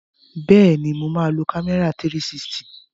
Bẹ́ẹ̀ni, mo máa lo kámẹ́rà 360.